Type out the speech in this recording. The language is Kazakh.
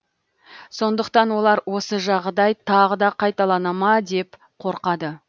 сондықтан олар осы жағдай тағы да қайталанама деп қорқады